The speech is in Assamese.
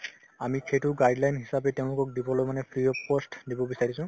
আমি সেইটো guideline হিচাপে তেওঁলোকক দিবলৈ মানে free of cost দিব বিচাৰিছো